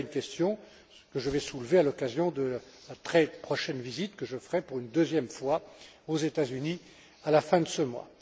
Voilà une question que je vais soulever à l'occasion de la très prochaine visite que je ferai, pour la deuxième fois, aux États Unis, à la fin de ce mois.